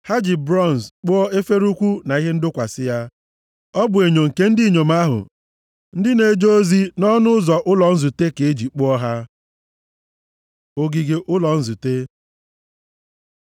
Ha ji bronz kpụọ efere ukwu na ihe ndọkwasị ya. Ọ bụ enyo nke ndị inyom ahụ ndị na-eje ozi nʼọnụ ụzọ ụlọ nzute ka e ji kpụọ ha. Ogige ụlọ nzute